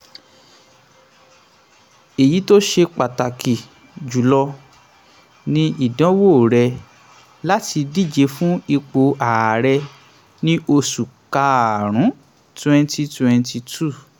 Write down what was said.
èyí tó ṣe pàtàkì jùlọ ni ìdánwò rẹ̀ láti díje fún ipò ààrẹ ní oṣù karùn-ún twenty twenty two.